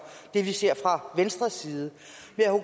det vi ser fra venstres vide